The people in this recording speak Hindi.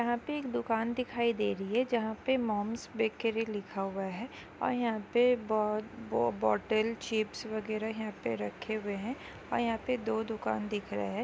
'' यहाँ पे एक दुकान दिखाई दे रही है जहाँ पे मॉम्स बेकरी लिखा हुआ है और यहाँ पे बो-बोटल चिप्स वगैरह यहाँ पे रखे हुवे है और यहाँ पे दो दुकान दिख रहा है। ''